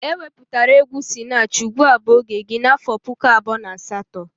E wepụtara egwu Sinach "ugbua bu oge gi' n'afọ puku abụọ na asatọ